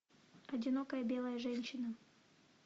одинокая белая женщина